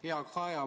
Hea Kaja!